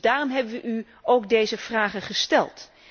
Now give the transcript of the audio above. Dus daarom hebben wij u ook deze vragen gesteld.